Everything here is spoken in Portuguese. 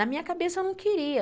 Na minha cabeça, eu não queria.